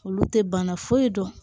Olu tɛ bana foyi dɔn